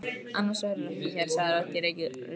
Annars værirðu ekki hér, sagði rödd í reykjarkófinu.